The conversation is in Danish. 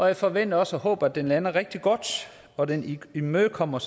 jeg forventer også og håber at den lander rigtig godt og at den imødekommer